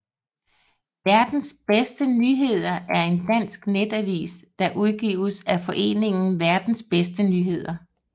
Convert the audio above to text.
Verdens Bedste Nyheder er en dansk netavis der udgives af foreningen Verdens Bedste Nyheder